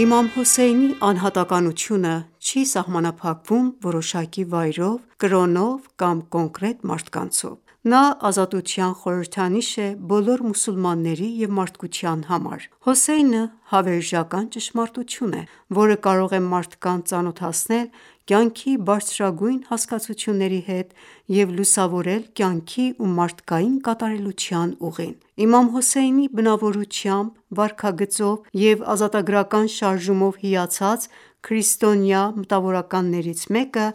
Իմամ Հոսեյնի անհատականությունը չի սահմանափակվում որոշակի վայրով, կրոնով կամ կոնկրետ մարդկանցով: Նա ազատության խորհրդանիշ է բոլոր մուսուլմանների և մարդկության համար: Հոսեյնը հավերժական ճշմարտություն է, որը կարող է մարդկանց ծանոթացնել կյանքի բարձրագույն հասկացությունների հետ և լուսավորել կյանքի ու մարդկային կատարելության ուղին: Իմամ Հոսեյնի բնավորությամբ, վարքագծով և ազատագրական շարժումով հիացած քրիստոնյա մտավորականներից մեկը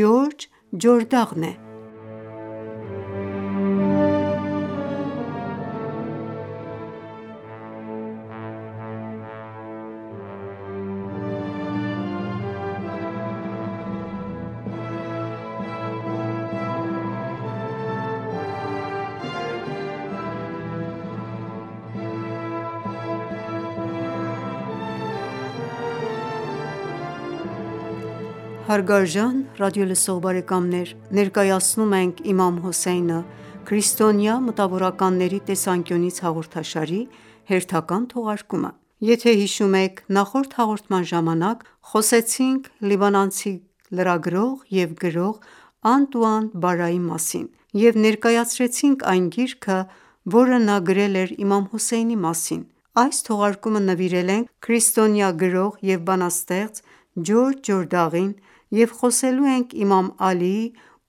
Ջորջ Ջորդաղն է։ Հարգարժան ռադիոլսող բարեկամներ, ներկայացնում ենք «Իմամ Հոսեյնը Քրիստոնյա մտավորականների տեսանկյունից» հաղորդաշարի հերթական թողարկումը։ Եթե հիշում եք նախորդ հաղորդման ժամանակ խոսեցինք լիբանանցի լրագրող և գրող Անտուան ​​Բարրայի մասին և ներկայացրեցինք այն գիրքը, որը նա գրել էր իմամ Հոսեյնի մասին: Այս թողարկումը նվիրել ենք քրիստոնյա գրող և բանաստեղծ Ջորջ Ջորդաղին և խոսելու ենք Իմամ Ալիի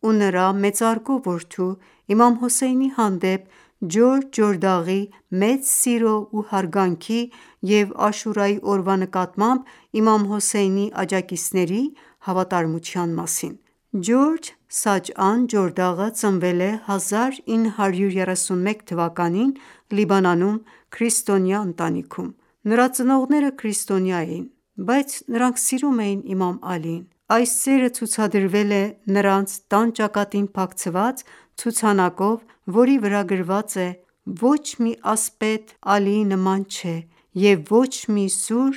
ու նրա մեծարգո որդու՝ Իմամ Հոսեյնի հանդեպ Ջորջ Ջորդաղի մեծ սիրո ու հարգանքի և Աշուրայի օրվա նկատմամբ իմամ Հոսեյնի աջակիցների հավատարմության մասին։ Քրիստոնյա անվանի գրող և հետազոտող՝ Ջորջ Սաջաան Ջորդաղը Ջորջ Սաջաան Ջորդաղը ծնվել է 1931 թվականին Լիբանանում, քրիստոնյա ընտանիքում։ Նրա ծնողները քրիստոնյա էին, բայց նրանք սիրում էին Իմամ Ալիին: Այս սերը ցուցադրվել է նրանց տան ճակատին փակցված ցուցանակով, որի վրա գրված է․ «Ոչ մի ասպետ Ալիի նման չէ, և ոչ մի սուր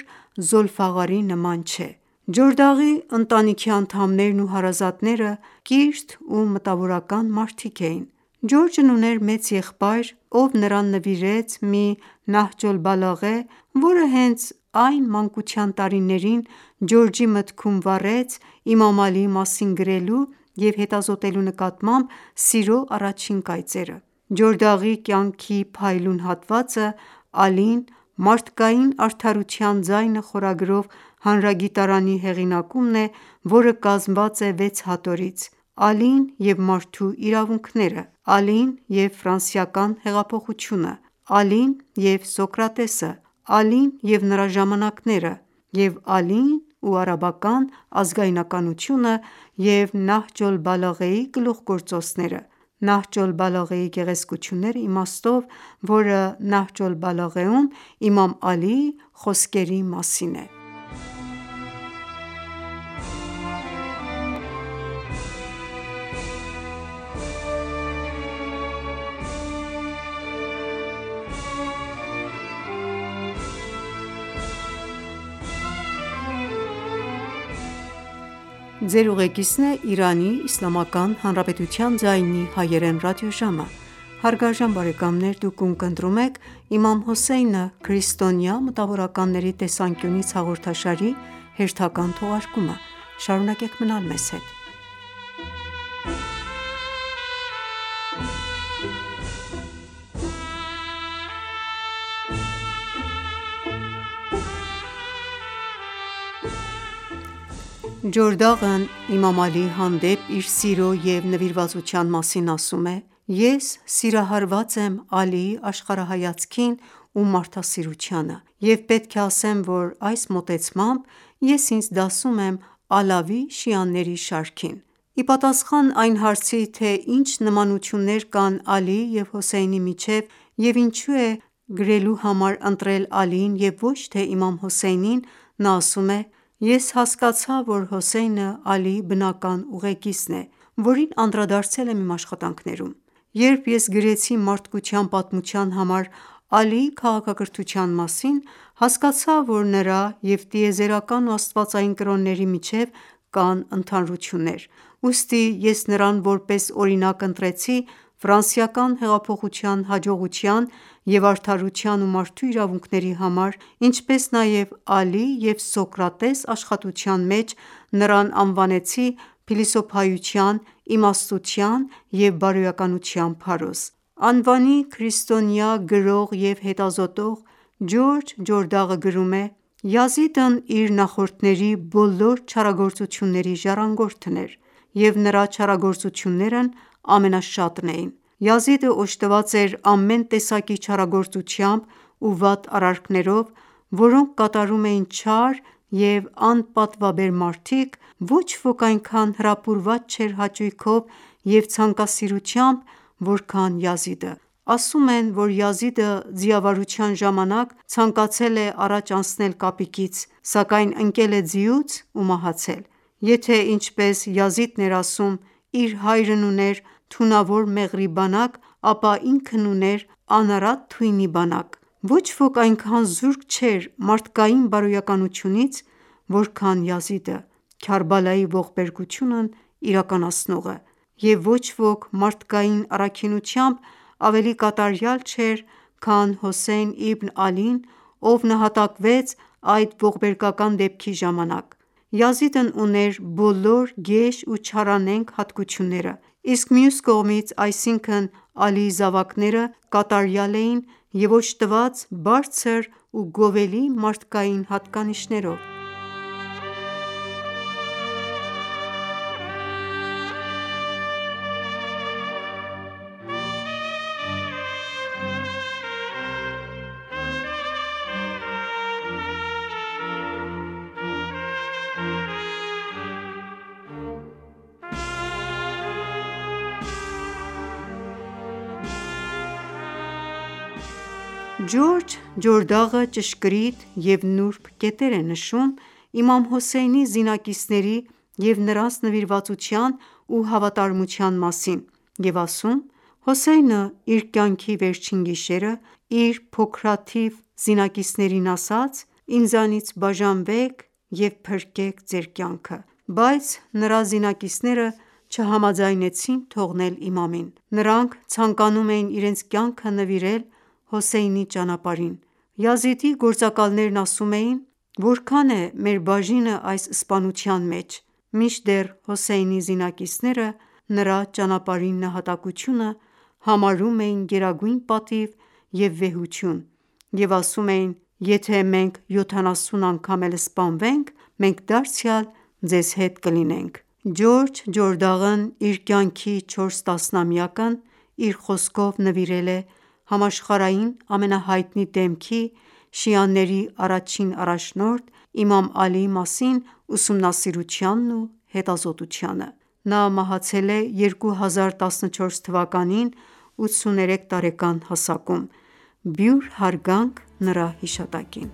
Ջորդաղի ընտանիքի անդամներն ու հարազատները կիրթ ու մտավորական մարդիկ էին։ Ջորջն ուներ մեծ եղբայր, ով նրան նվիրեց մի Նահջ օլ-Բալաղե, որը հենց այդ մանկության տարիներին Ջորջի մտքում վառեց Իմամ Ալիի մասին գրելու և հետազոտելու նկատմամբ սիրո առաջին կայծերը։ Ջորդաղի կյանքի փայլուն հատվածը «Ալին, մարդկային արդարության ձայնը» խորագրով հանրագիտարանի հեղինակումն է, որը կազմված է վեց հատորից՝ «Ալին և մարդու իրավունքները», «Ալին և ֆրանսիական հեղափոխությունը», «Ալին և Սոկրատեսը», «Ալին և նրա ժամանակները» և «Ալին և արաբական ազգայնականությունը» և «Նահջ օլ-Բալաղեի գլուխգործոցները» (Նահջ օլ-Բալաղեի գեղեցկությունները» իմաստով, որը Նահջ օլ-Բալաղեում իմամ Ալիի խոսքերի մասին է): Իմամ Ալին մարդկային արդարության ձայնը Ջորդաղն Իմամ Ալիի հանդեպ իր սիրո և նվիրվածության մասին ասում է. «Ես սիրահարված եմ Ալիի աշխարհահայացքին ու մարդասիրությանը և պետք է ասեմ, որ այս մոտեցմամբ ես ինձ դասում եմ ալավի շիաների շարքին»: Ի պատասխան այն հարցի, թե ինչ նմանություններ կան Ալիի և Հոսեյնի միջև և ինչու է գրելու համար ընտրել Ալիին և ոչ թե իմամ Հոսեյնին, նա ասում է. «Ես հասկացա, որ Հոսեյնը Ալիի բնական ուղեգիծն է, որին անդրադարձել եմ իմ աշխատանքներում: Երբ ես գրեցի մարդկության պատմության համար Ալիի քաղաքակրթության մասին, հասկացա, որ նրա և տիեզերական ու աստվածային կրոնների միջև կան ընդհանրություններ: Ուստի ես նրան որպես օրինակ ընտրեցի ֆրանսիական հեղափոխության հաջողության և արդարության ու մարդու իրավունքների համար, ինչպես նաև «Ալի և Սոկրատես» աշխատության մեջ, նրան անվանեցի փիլիսոփայության, իմաստության և բարոյականության փարոս»։ Անվանի քրիստոնյա գրող և հետազոտող Ջորջ Ջորդաղը գրում է. «Յազիդն իր նախորդների բոլոր չարագործությունների ժառանգորդն էր, և նրա չարագործություններն ամենաշատն էին։ Յազիդը օժտված էր ամեն տեսակի չարագործությամբ ու վատ արարքներով, որոնք կատարում էին չար և անպատվաբեր մարդիկ, ոչ ոք այնքան հրապուրված չէր հաճույքով և ցանկասիրությամբ, որքան Յազիդը: Ասում են, որ Յազիդը ձիավարության ժամանակ ցանկացել է առաջ անցնել կապիկից, սակայն ընկել է ձիուց ու մահացել։ Եթե ինչպես Յազիդն էր ասում, իր հայրն ուներ թունավոր մեղրի բանակ, ապա ինքն ուներ անարատ թույնի բանակ։ Ոչ ոք այնքան զուրկ չէր մարդկային բարոյականությունից, որքան Յազիդը՝ Քարբալայի ողբերգությունն իրականացնողը։ Եվ ոչ ոք մարդկային առաքինությամբ ավելի կատարյալ չէր, քան Հոսեյն Իբն Ալին, ով նահատակվեց այդ ողբերգական դեպքի ժամանակ: Յազիդն ուներ բոլոր գեշ ու չարանենգ հատկությունները։ Իսկ մյուս կողմից, այսինքն՝ Ալիի զավակները, կատարյալ էին և օժտված բարձր ու գովելի մարդկային հատկանիշներով։ Իմամ Հոսեյնի արյան վրեժն առնելու կարգախոս Ջորջ Ջորդաղը ճշգրիտ և նուրբ կետեր է նշում Իմամ Հոսեյնի զինակիցների և նրանց նվիրվածության ու հավատարմության մասին և ասում. «Հոսեյնը իր կյանքի վերջին գիշերը, իր փոքրաթիվ զինակիցներին ասաց․ «Ինձանից բաժանվեք և փրկեք ձեր կյանքը», բայց նրա զինակիցները չհամաձայնեցին թողնել իմամին։ Նրանք ցանկանում էին իրենց կյանքը նվիրել Հոսեյնի ճանապարհին․․․․ Յազիդի գործակալներն ասում էին․-«Որքա՞ն է մեր բաժինը այս սպանության մեջ»։ Մինչդեռ Հոսեյնի զինակիցները նրա ճանապարհին նահատակությունը համարում էին գերագույն պատիվ և վեհություն և ասում էին. «Եթե մենք յոթանասուն անգամ էլ սպանվենք, մենք դարձյալ ձեզ հետ կլինենք»: Ջորջ Ջորդաղն իր կյանքի չորս տասնամյակն իր խոսքով նվիրել է համաշխարհային ամենահայտնի դեմքի, շիաների առաջին առաջնորդ՝ իմամ Ալի մասին ուսումնասիրությանն ու հետազոտությանը։ Նա մահացել է 2014 թվականին 83 տարեկան հասակում: Բյուր հարգանք նրա հիշատակին։